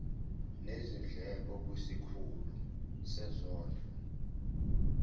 nezindleko kwisikhulu sezondlo